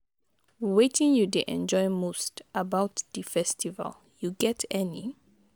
wetin you dey enjoy most about di festival, you get any?